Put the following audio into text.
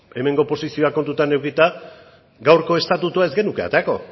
hemengo posizioak kontutan edukita gaurko estatutua ez genuke aterako